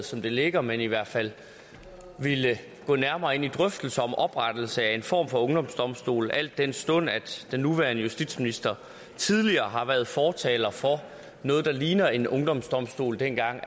som det ligger men i hvert fald ville gå nærmere ind i drøftelser om oprettelse af en form for ungdomsdomstol al den stund at den nuværende justitsminister tidligere har været fortaler for noget der ligner en ungdomsdomstol dengang